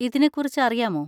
ഇതിനെ കുറിച്ച് അറിയാമോ?